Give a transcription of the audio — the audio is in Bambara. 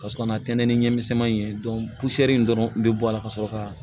Ka sɔrɔ ka na tɛntɛn ni ɲaman in ye in dɔrɔn bɛ bɔ a la ka sɔrɔ ka